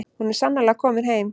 Hún er sannarlega komin heim.